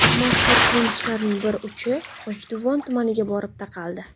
Mazkur qilmishlarning bir uchi G‘ijduvon tumaniga borib taqaldi.